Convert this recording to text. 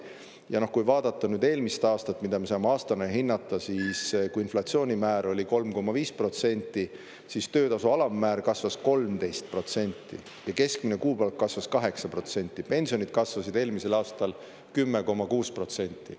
Ja kui vaadata eelmist aastat, mida me saame aastana hinnata, siis kui inflatsioonimäär oli 3,5%, siis töötasu alammäär kasvas 13% ja keskmine kuupalk kasvas 8%, pensionid kasvasid eelmisel aastal 10,6%.